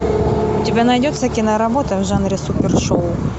у тебя найдется киноработа в жанре супер шоу